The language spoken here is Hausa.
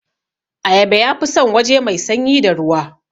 Ayaba yafi san waje mai sanyi da ruwa